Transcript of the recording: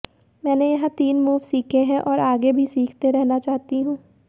मैंने यहां तीन मूव सीखे हैं और आगे भी सीखते रहना चाहती हूं